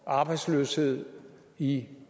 arbejdsløshed i